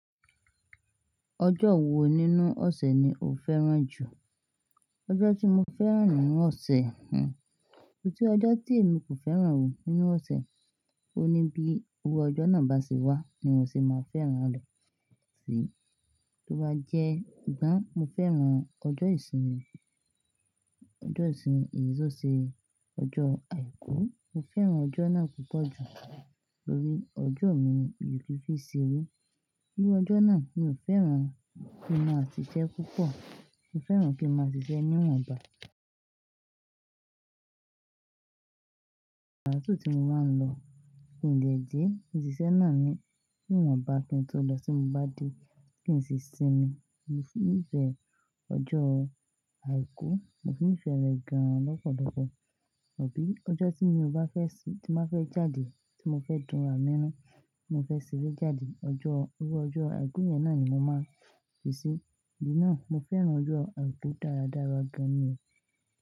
Ọjọ́ wo nínú ọ̀sẹ̀ ni o fẹ́ràn jù? Ọjọ́ tí mo fẹ́ràn nínú ọ̀sẹ̀, ò ti ọjọ́ tí èmi kò fẹ́ràn o nínú ọ̀sẹ̀, ó ní bí owó ọjọ́ náà bá sì wá ni wọn sì máa fẹ́ràn lọ sí. Tí ó bá jẹ́ ìgbà mo fẹ́ràn ọjọ́ ìsinmi, ọjọ́ ìsinmi èyí ṣọ̀ ṣe ọjọ́ Àìkú. Mo fẹ́ràn ọjọ́ náà púpọ̀ jù lórí ọjọ́ mi ìyí fífí ṣeré. Owó ọjọ́ náà, mo fẹ́ràn kí n máa ṣiṣẹ́ púpọ̀, mo fẹ́ràn kí n máa ṣiṣẹ́ níwọ̀nba. Aaki ti mo máa ń mu kí n lè dé, ìṣiṣẹ́ náà ni, níwọ̀nba kí n tó lọ sí mo bá dé kí n sì sinmi. Ní ìbẹ̀ ọjọ́ Àìkú, mo ni ìfẹ́ rẹ̀ gan lọ́pọ̀lọ́pọ̀, àbí ọjọ́ tí mo ò bá fẹ́ sì tí máa fẹ́ jáde, tí mo fẹ́ dùn àmíràn, tí mo fẹ́ ṣeré jáde, ọjọ́ owó ọjọ́ Àìkú yẹn náà ni mo máa fi sí. Ìdí náà mo fẹ́ràn ọjọ́ Àìkú dáradára gan-an ni.